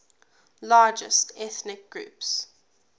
largest ethnic groups